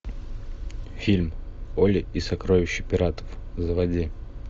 фильм олли и сокровища пиратов заводи